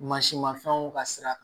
Mansinmafɛnw ka sira